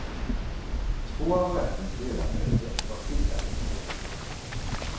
Två av rättens ledamöter var skiljaktiga.